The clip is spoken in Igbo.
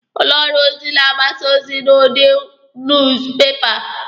Ụlọ ọrụ ozi na-agbasa ozi n'udi nuuz pepa.